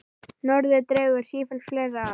Norðrið dregur sífellt fleiri að.